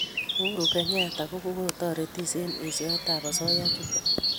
uhuru kenyatta ko kotaretis eng' eshoet ab asoya chutok